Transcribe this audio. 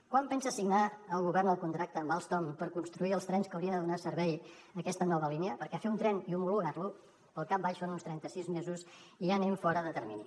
quan pensa signar el govern el contracte amb alstom per construir els trens que haurien de donar servei a aquesta nova línia perquè fer un tren i homologar lo pel cap baix són uns trenta sis mesos i ja anem fora de termini